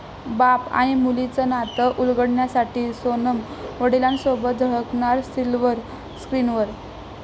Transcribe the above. बाप आणि मुलीचं नात उलगडण्यासाठी सोनम वडिलांसोबत झळकणार सिल्व्हर स्क्रिनवर